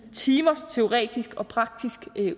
timers teoretisk og praktisk